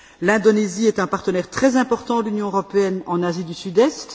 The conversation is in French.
L'Indonésie est un partenaire très important de l'Union européenne en Asie du Sud Est.